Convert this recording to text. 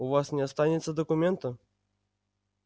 у вас не останется документа